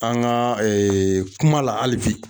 An ga eee kuma la ali bi